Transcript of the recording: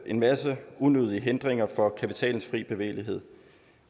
en masse unødige hindringer for kapitalens frie bevægelighed